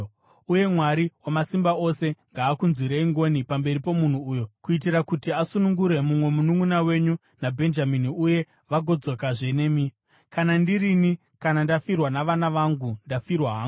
Uye Mwari Wamasimba Ose ngaakunzwirei ngoni pamberi pomunhu uyo kuitira kuti asunungure mumwe mununʼuna wenyu naBhenjamini uye vagodzokazve nemi. Kana ndirini, kana ndafirwa navana vangu, ndafirwa hangu.”